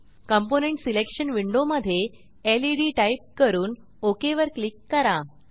component selection window मधे LED type करून OK वर क्लिक करा